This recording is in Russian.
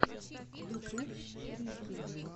ютюб фрики